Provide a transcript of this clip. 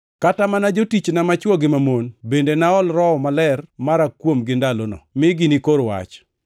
Kata mana jotichna machwo gi mamon, bende naol Roho Maler mara kuomgi ndalono, mi ginikor wach.